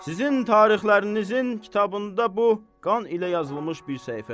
Sizin tarixlərinizin kitabında bu qan ilə yazılmış bir səhifədir.